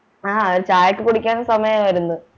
ആ ചായയൊക്കെ കുടിക്കാൻ സമയായിരുന്നു